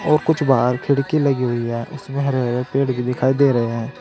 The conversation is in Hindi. और कुछ बाहर खिड़की लगी हुई है इसमें हरे हरे हरे पेड़ भी दिखाई दे रहे हैं।